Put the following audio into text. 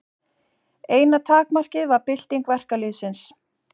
Eina takmarkið var bylting verkalýðsins.